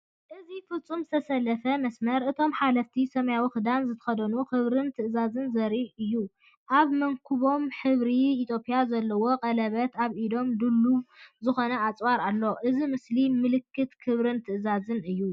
እዚ ፍጹም ዝተሰለፈ መስመር፡ እቶም ሓለፍቲ፡ ሰማያዊ ክዳን ዝተኸድኑ፡ ክብርን ትእዛዝን ዘርእዩ እዩ፤ ኣብ መንኵቦም ሕብሪ ኢትዮጵያ ዘለዎ ቀለቤት፡ ኣብ ኢዶም ድሉው ዝኾነ ኣጽዋር ኣሎ። እዚ ምስሊ ምልክት ክብርን ትእዛዝን እዩ።